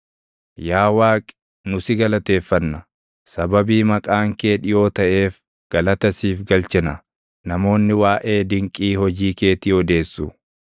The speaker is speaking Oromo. Yaa Waaqi, nu si galateeffanna; sababii Maqaan kee dhiʼoo taʼeef galata siif galchina; namoonni waaʼee dinqii hojii keetii odeessu.